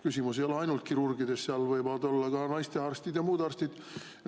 Küsimus ei ole ainult kirurgides, seal võivad olla ka naistearstid ja muud arstid.